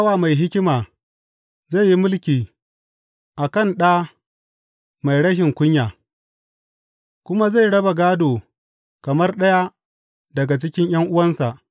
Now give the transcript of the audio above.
Bawa mai hikima zai yi mulki a kan da mai rashin kunya, kuma zai raba gādo kamar ɗaya daga cikin ’yan’uwansa.